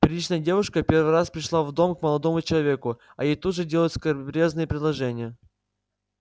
приличная девушка первый раз пришла в дом к молодому человеку а ей тут же делают скабрёзные предложения